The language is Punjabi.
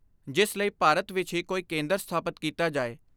ਜਿਸ ਲਈ ਭਾਰਤ ਵਿਚ ਹੀ ਕੋਈ ਕੇਂਦਰ ਸਥਾਪਤ ਕੀਤਾ ਜਾਏ।